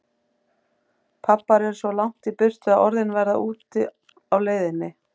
Pabbar eru svo langt í burtu að orðin verða úti á leiðinni.